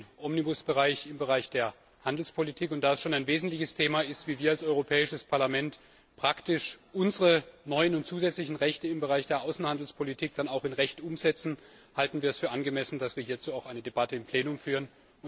Es geht um den Omnibus Bereich im Bereich der Handelspolitik, und da es schon ein wesentliches Thema ist, wie wir als Europäisches Parlament praktisch unsere neuen und zusätzlichen Rechte im Bereich der Außenhandelspolitik dann auch in Recht umsetzen, halten wir es für angemessen, dass wir hierzu auch eine Debatte im Plenum führen.